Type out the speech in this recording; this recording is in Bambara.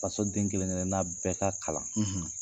Faso den kelen kelenna bɛɛ ka kalan.